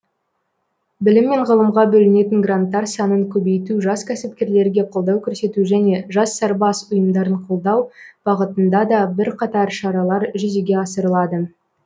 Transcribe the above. білім мен ғылымға бөлінетін гранттар санын көбейту жас кәсіпкерлерге қолдау көрсету және жас сарбаз ұйымдарын қолдау бағытында да бірқатар шаралар жүзеге асырылады